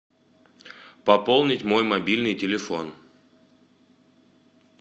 пополнить мой мобильный телефон